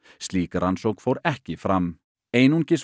slík rannsókn fór ekki fram einungis